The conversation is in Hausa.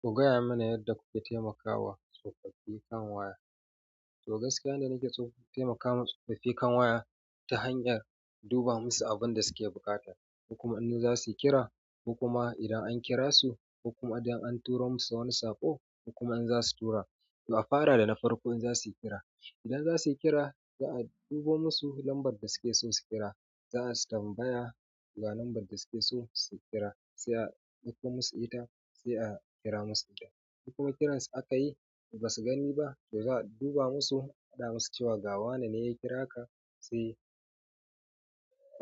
Ku gaya mana yadda kuke taimakawa tsofaffi kan waya. To gaskiya da nake so taimakawa tsofaffi kan waya ta hanyar duba musu abun da suke buƙata, hukuma annu za su kira, hukuma idan an kira su, hukuma idan an turo musu wani saƙo, kokuma in za su tura. To a fara da na farko in za su kira, idan za su kira za a duba musu lambar da suke so su kira. Za a tambaya ga lambar da suke so su kira, sai a ɗauko musu ita sai a kira musu da ita. Hukuma kiransu aka yi ba su gani ba, to za a duba musu, a faɗa musu cewa gawane ne ya kira ka sai